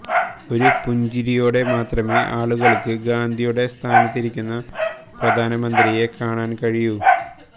ഒരു പുഞ്ചിരിയോടെ മാത്രമേ ആളുകള്ക്ക് ഗാന്ധിയുടെ സ്ഥാനത്തിരിക്കുന്ന പ്രധാനമന്ത്രിയെ കാണാന് കഴിയൂ